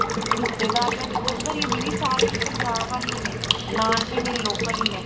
ਰਿਸ਼ਤੇਦਾਰੀਆਂ ਤੇ ਉਹਦਰ ਹੀ ਨੇ ਦੀਦੀ ਸਾਰੇ ਪੰਜਾਬ ਵੱਲ ਹੀਣੇ ਨਾਨਕੇ ਮੇਰੇ local ਹੀਣੇ